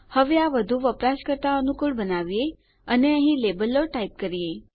હવે આ વધુ વપરાશકર્તા અનુકુળ બનાવીએ અને અહીં લેબલો ટાઈપ કરીએ